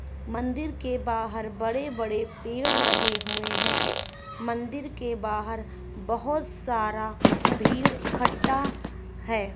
मंदिर के बाहर बड़े बड़े पेड़ लगे हुए है मंदिर के बाहर बहुत सारा भीड़ इकट्ठा है।